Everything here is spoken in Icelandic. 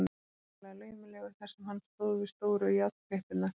Hann var ákaflega laumulegur þar sem hann stóð við stóru járnklippurnar.